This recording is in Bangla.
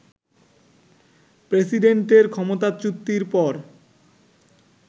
প্রেসিডেন্টের ক্ষমতাচ্যুতির পর